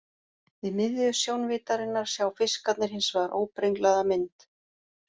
Við miðju sjónvíddarinnar sjá fiskarnir hins vegar óbrenglaða mynd.